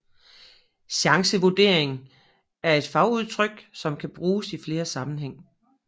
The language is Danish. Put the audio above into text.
Chancevurdering er et fagudtryk som kan bruges i flere sammenhæng